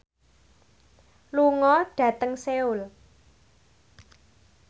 lunga dhateng Seoul